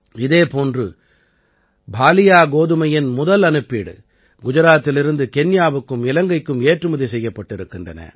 இதே போன்று பாலியா கோதுமையின் முதல் அனுப்பீடு குஜராத்திலிருந்து கென்யாவுக்கும் இலங்கைக்கும் ஏற்றுமதி செய்யப்பட்டிருக்கின்றன